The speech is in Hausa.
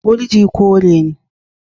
Gurji kore ne.